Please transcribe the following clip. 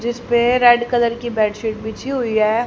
जिसपे red colour की bedsheet बिछी हुई हैं।